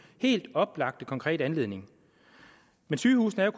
helt oplagte konkrete anledning men sygehusene er